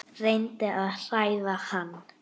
Reyndi að hræða hann.